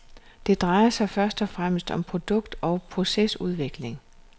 Det drejer sig først og fremmest om produkt og procesudvikling.